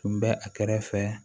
Tun bɛ a kɛrɛfɛ